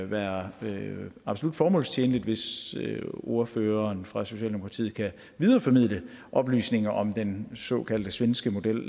være absolut formålstjenligt hvis ordføreren fra socialdemokratiet kan videreformidle oplysninger om den såkaldte svenske model